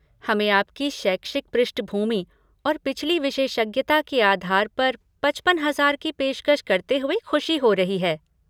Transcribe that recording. हमें आपकी शैक्षिक पृष्ठभूमि और पिछली विशेषज्ञता के आधार पर पचपन हजार की पेशकश करते हुए खुशी हो रही है।